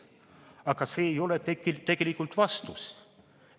Aga see ei ole tegelikult vastus.